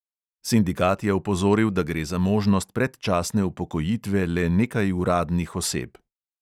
Sindikat je opozoril, da gre za možnost predčasne upokojitve le nekaj uradnih oseb.